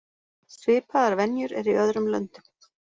Svipaðar venjur eru í öðrum löndum.